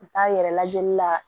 U t'a yɛrɛ lajɛli la